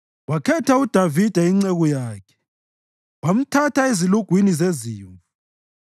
Wakhetha uDavida inceku yakhe wamthatha ezilugwini zezimvu;